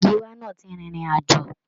Gíwá náà ti rin ìrìn àjò.